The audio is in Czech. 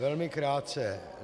Velmi krátce.